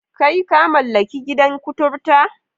Kai! ka mallaki gidan kutaria?